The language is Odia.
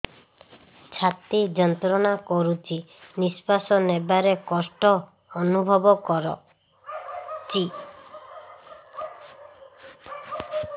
ଛାତି ଯନ୍ତ୍ରଣା କରୁଛି ନିଶ୍ୱାସ ନେବାରେ କଷ୍ଟ ଅନୁଭବ କରୁଛି